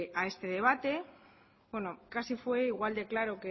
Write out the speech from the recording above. a este debate bueno casi fue igual de claro